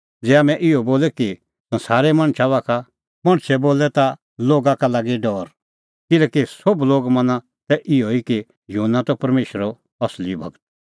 ज़ै हाम्हैं इहअ बोले कि संसारे मणछा बाखा का मणछे बोलै ता लोगा का लागी डौर किल्हैकि सोभ लोग मना तै इहअ कि युहन्ना त परमेशरो असली गूर